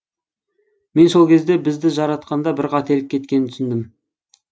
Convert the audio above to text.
мен сол кезде бізді жаратқанда бір қателік кеткенін түсіндім